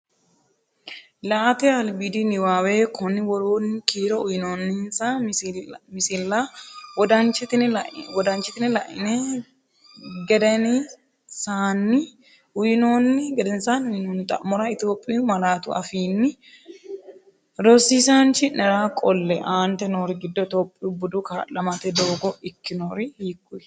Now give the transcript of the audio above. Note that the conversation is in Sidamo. La”ate albiidi niwaawe Konni woroonni kiiro uyinoonninsa misilla wodanchitine la’ini geden saanni uyinoonni xa’mora Itophiyu malaatu afiinni rosiisaanchi’nera qolle, Aaante noori giddo Itophiyu budu kaa’lamate doogga ikkitinori hiik?